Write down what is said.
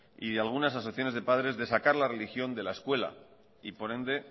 y algunas asociaciones de padres de sacar la religión de la escuela y por ende